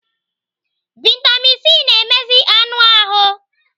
Vitamin C na-emezi anụ ahụ.